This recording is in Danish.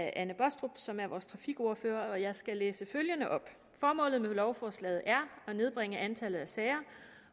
anne baastrup som er vores trafikordfører og jeg skal læse følgende op formålet med lovforslaget er at nedbringe antallet af sager